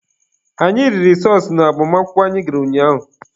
Anyị riri sọọsụ n'agbamakwụkwọ anyị gara ụnyaahụ.